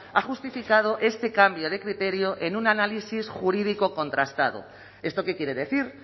ha justificado este cambio de criterio en un análisis jurídico contrastado esto qué quiere decir